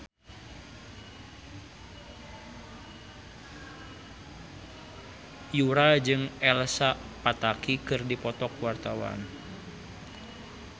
Yura jeung Elsa Pataky keur dipoto ku wartawan